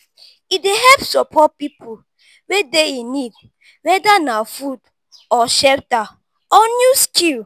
e dey help support pipo wey dey in need whether na food or shelter or new skill